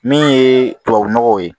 Min ye tubabu nɔgɔw ye